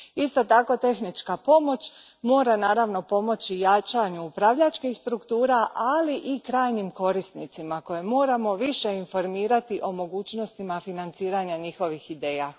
Isto tako tehnička pomoć mora naravno pomoći jačanju upravljačkih struktura, ali i krajnjim korisnicima koje moramo više informirati o mogućnostima financiranja njihovih ideja.